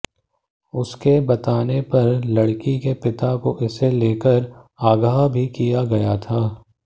उसके बताने पर लड़की के पिता को इसे लेकर आगाह भी किया गया था